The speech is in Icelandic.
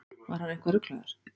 Var hann eitthvað ruglaður?